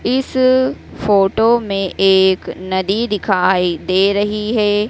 इस फोटो में एक नदी दिखाई दे रही हैं।